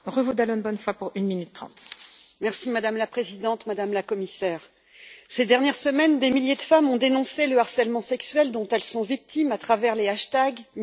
Madame la Présidente, Madame la Commissaire, ces dernières semaines, des milliers de femmes ont dénoncé le harcèlement sexuel dont elles sont victimes à travers les hashtags MeToo, MoiAussi ou BalanceTonPorc.